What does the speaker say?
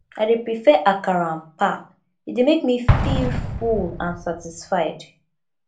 i dey prefer akara and pap e dey make me feel full and satisfied